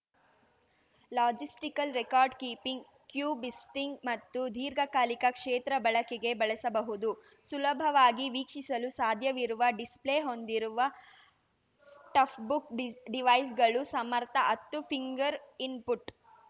logistical record keeping queue busting ಮತ್ತು ದೀರ್ಘಕಾಲಿಕ ಕ್ಷೇತ್ರ ಬಳಕೆಗೆ ಬಳಸಬಹುದು ಸುಲಭವಾಗಿ ವೀಕ್ಷಿಸಲು ಸಾಧ್ಯವಿರುವ ಡಿಸ್‌ಪ್ಲೇ ಹೊಂದಿರುವ ಟಫ್‌ಬುಕ್‌ ಡಿ ಡಿವೈಸ್‌ಗಳು ಸಮರ್ಥ ಹತ್ತುಫಿಂಗರ್‌ ಇನ್‌ಪುಟ್‌